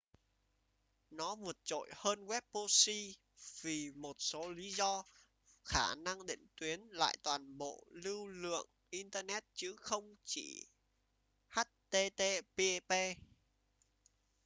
nó vượt trội hơn web proxy vì một số lý do khả năng định tuyến lại toàn bộ lưu lượng internet chứ không chỉ http